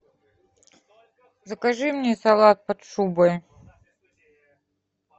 закажи мне салат под шубой